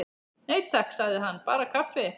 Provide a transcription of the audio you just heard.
Nei, takk, sagði hann, bara kaffi.